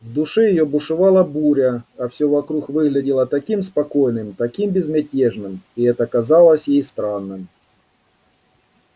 в душе её бушевала буря а всё вокруг выглядело таким спокойным таким безмятежным и это казалось ей странным